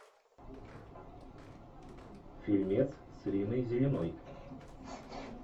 фильмец с риной зеленой